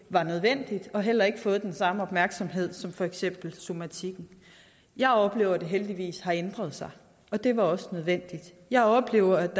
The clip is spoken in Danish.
var nødvendig den har heller ikke fået den samme opmærksomhed som for eksempel somatikken jeg oplever at det heldigvis har ændret sig det var også nødvendigt jeg oplever